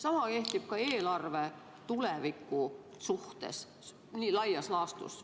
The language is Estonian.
Sama kehtib laias laastus ka eelarve tuleviku suhtes.